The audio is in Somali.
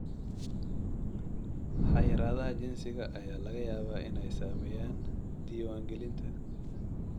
Xayiraadaha jinsiga ayaa laga yaabaa inay saameeyaan diiwaangelinta.